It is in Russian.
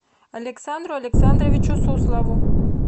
александру александровичу суслову